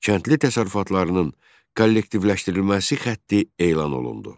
Kəndli təsərrüfatlarının kollektivləşdirilməsi xətti elan olundu.